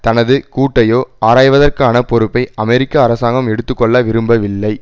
தனது கூட்டையோ ஆராய்வதற்கான பொறுப்பை அமெரிக்க அரசாங்கம் எடுத்து கொள்ள விரும்பவில்லை